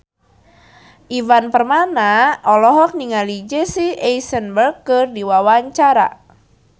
Ivan Permana olohok ningali Jesse Eisenberg keur diwawancara